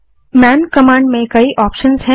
man command में कई option हैं